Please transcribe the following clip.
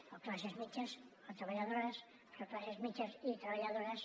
o classes mitjanes o treballadores però classes mitjanes i treballadores